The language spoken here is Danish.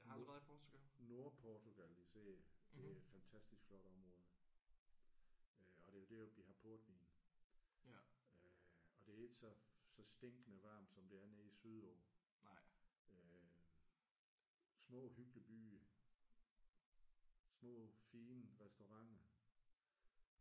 Nord Nordportugal især det er et fantastisk flot område. Øh og det er jo deroppe de har portvin øh og det er ikke så så stinkende varmt som det er nede sydpå. Øh små hyggelige byer. Små fine restauranter